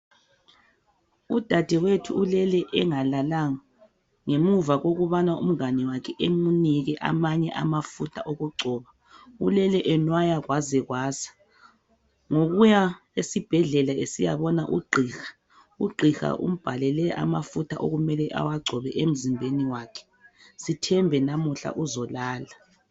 Udadewethu ulele engalalanga ngemuva kokubana umngane wakhe emunike amanye amafutha okugcoba, ulele enwaya kwaze kwasa ngokuya esibhedlela esiyabona ugqiha. Ugqiha umbhalele amafutha okumele ewagcobe emzimbeni wakhe sithembe namhla uzoala.